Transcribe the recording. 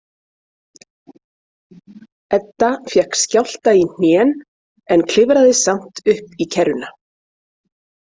Edda fékk skjálfta í hnén en klifraði samt upp í kerruna.